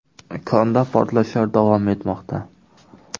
Konda portlashlar davom etmoqda.